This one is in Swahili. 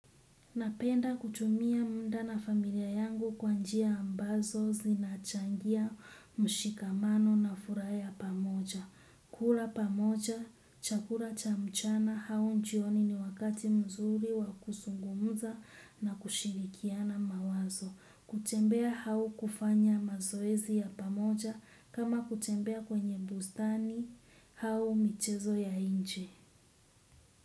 Napenda kutumia mda na familia yangu kwa njia ambazo zinachangia mshikamano na furaha ya pamoja. Kula pamoja, chakula cha mchana hau njioni ni wakati mzuri wa kusungumza na kushirikiana mawazo. Kutembea hau kufanya mazoezi ya pamoja kama kutembea kwenye bustani hau michezo ya inje.